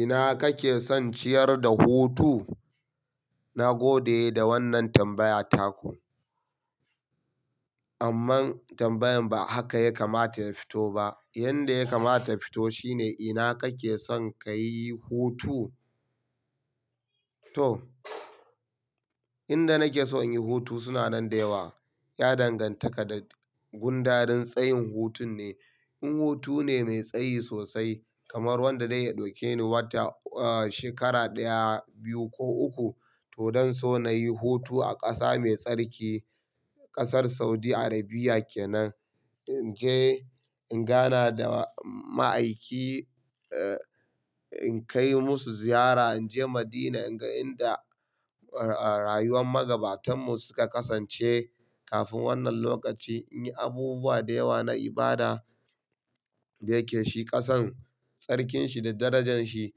Ina kake son ciyar da hutu? Na gode da wannan tambaya taku. Amma tambayan ba haka ya kamata ya fito ba. Yanda ya kamata ya fito shine ina kake son kayi hutu? To, inda nake son in yi hutu suna nan da yawa. Ya dangantaka da gundarin tsayin hutun ne. In hutu ne mai tsayi sosai kamar wanda zai iya ɗauke ni wata, shekara ɗaya, biyu ko uku to don so na yi hutu a ƙasa mai tsarki ƙasar Saudi Arabia kenan. In je in gana da ma'aikin in kai musu ziyara, in je Madina in ga inda rayuwar magabatanmu suka kasance kafin wannan lokaci, in yi abubuwa da yawa na ibada yake shi ƙasan. Tsarkin shi da darajan shi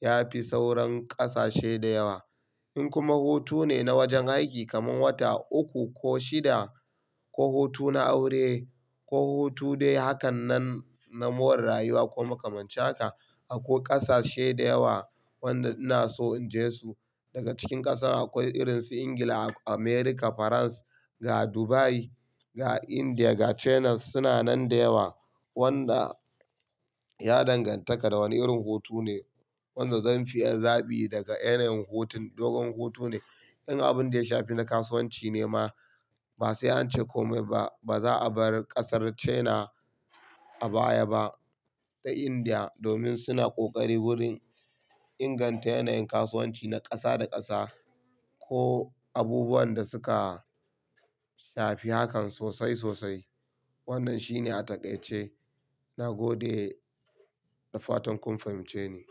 ya fi sauran ƙasashe da yawa. In kuma hutu ne na wajen aiki kamar wata uku ko shida ko hutu na aure ko hutu dai hakan nan na more rayuwa ko makamancin haka akwai ƙasashe da yawa wanda ina so in je su. Daga cikin ƙasar akwai irin su Ingila, America, Faransa, ga Dubai, ga Indiya, ga China suna nan da yawa. Wanda ya danganta kadawane irin hutu ne wanda zanfi yi zaɓi daga yanayin hutun. Dogon hutu ne in abun da ya shafi na kasuwanci ne ma ba sai an ce komai ba. Ba za a bar ƙasar China a baya ba da Indiya domin suna ƙoƙari wurin inganta yanayin kasuwanci na ƙasa da ƙasa ko abubuwan da suka shafi hakan sosai sosai. Wannan shine a taƙaice. Na gode da fatan kun fahimce ni.